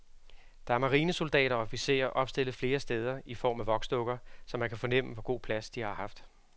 Der er marinesoldater og officerer opstillet flere steder i form af voksdukker, så man kan fornemme, hvor god plads de har haft.